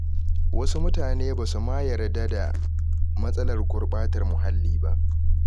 Wasu mutane ba su ma yarda da matsalar gurɓatar muhalli ba.